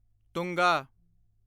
ਤੁੰਗਾ